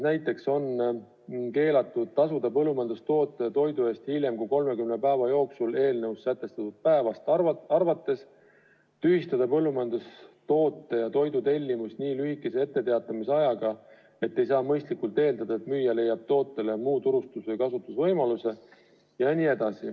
Näiteks on keelatud tasuda põllumajandustoote ja toidu eest hiljem kui 30 päeva jooksul eelnõus sätestatud päevast arvates, tühistada põllumajandustoote või toidu tellimus nii lühikese etteteatamisajaga, et ei saa mõistlikult eeldada, et müüja leiab tootele muu turustamis- ja kasutamisvõimaluse.